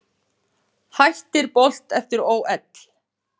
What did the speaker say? Hættir Bolt eftir ÓL